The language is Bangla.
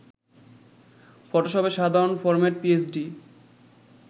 ফটোশপের সাধারণ ফরম্যাট পিএসডি